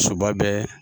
Soba bɛ